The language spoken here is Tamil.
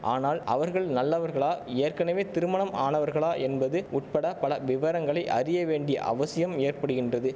ஆனால் அவர்கள் நல்லவர்களா ஏற்கனவே திருமணம் ஆனவர்களா என்பது உட்பட பல விவரங்களை அறிய வேண்டிய அவசியம் ஏற்படுகின்றது